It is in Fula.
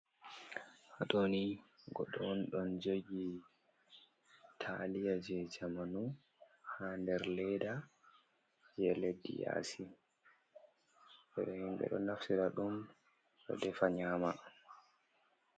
Haatoni goɗɗo on ɗon jogi taaliya je jamanu ha nder leda je leddi yasi himɓe ɗo naftira ɗum ɗo defa nyama.